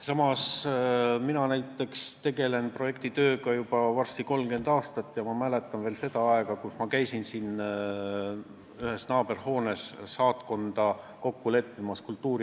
Samas mina näiteks olen tegelenud projektitööga juba varsti 30 aastat ja ma mäletan veel aega, kus ma käisin siin ühes naaberhoones kultuuriatašeega kokku leppimas.